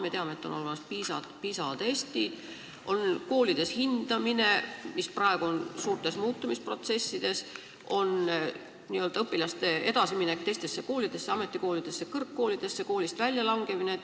Me teame, et on olemas PISA testid, on koolides hindamine, mis praegu on suures muutumisprotsessis, on õpilaste edasiminek teistesse koolidesse – ametikoolidesse, kõrgkoolidesse –, koolist väljalangemine.